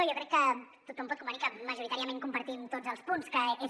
jo crec que tothom pot convenir que majoritàriament compartim tots els punts que és